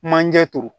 Manje turu